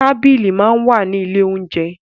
Tábìlì máa ń wà ní ilé oúnjẹ.